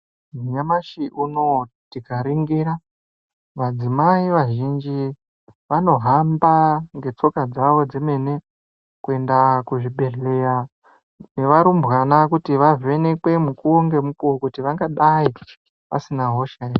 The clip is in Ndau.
Nyamashi unoo tikaringira madzimai vazhinji vanohamba ngetsoka dzawo dzemene kuenda kuzvibhehleya nevarumbwana kuti vavhenekwe mukuwo ngemukuwo kuti vangadai vasina hosha ere.